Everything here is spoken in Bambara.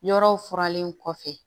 Yɔrɔw furalen kɔfɛ